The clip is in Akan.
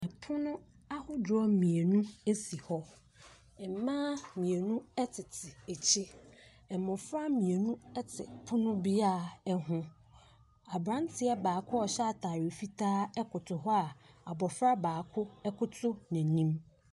Ɛpono ahodoɔ mienu esi hɔ mmaa mienu ɛtete akyire mmofra mienu ɛte ɛpono biaa ho abranteɛ baako a ɔhyɛ ataade fitaa ɛjoto hɔ a abofra baako ɛkoto nanim.